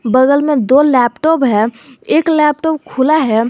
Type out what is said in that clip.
बगल में दो लैपटॉप है एक लैपटॉप खुला है।